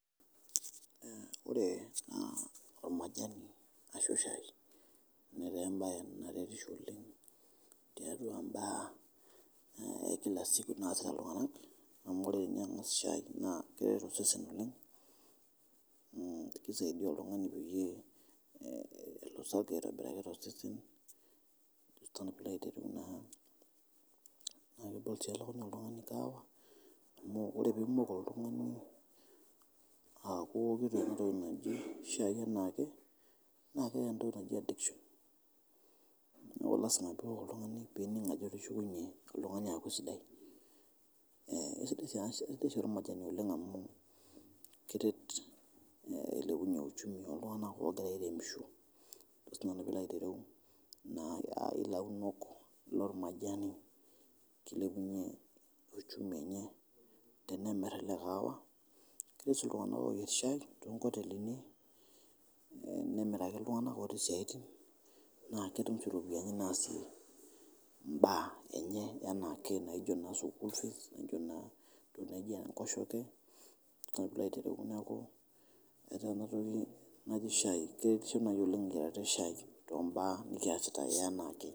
Ore ana naa olmajani ashu eshai netaa embae naretissho oleng tiatua embaa e kila siku naasita ltunganak amu ore ninye angas ninye shai naa keretisho oshi ninye, keisidia oltungani peyie elosoki aitobiraki to osesen ajo si nanu pilo aitijing'aa, naa idol sii ltungani olakunyaa kaawa amu ore piimoku oltungani aaku kintomoki shai anaake naa keeta entoki naji addiction neaku lasima piok oltungani piining' ajo itushukunye iltungani aaku sidai, keisharumate oleng amuu keret eilepunye uchumi iltungana otii aaremisho, ajo si nanu pilo aitereu naa launok lolmajani keilepunye uchumi enye tenemir ilkahawa, netii sii ltungaanak ook shai te nkotelini nemeiraki ltunganak otii siaatin ,naa ketum oshi iropiyiani naasie imbaa enye anaake naijo ne school fees naaijo naa ne nkosheke ajo si nanu pilo aitereu naa etaa ena toki naji shaii keretisho oleng too mbaa nikiasita anaake.